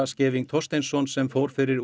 Scheving Thorsteinsson sem fór fyrir